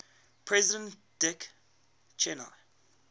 president dick cheney